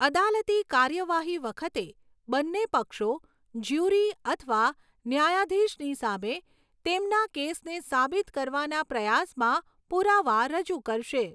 અદાલતી કાર્યવાહી વખતે, બંને પક્ષો જ્યુરી અથવા ન્યાયાધીશની સામે તેમના કેસને સાબિત કરવાના પ્રયાસમાં પુરાવા રજૂ કરશે.